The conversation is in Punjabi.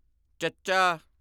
ਚੱਚਾ